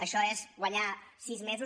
això és guanyar sis mesos